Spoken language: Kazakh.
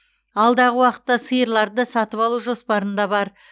алдағы уақытта сиырларды да сатып алу жоспарында бар